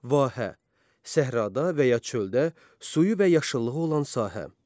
Vahə: Səhrada və ya çöldə suyu və yaşıllığı olan sahə.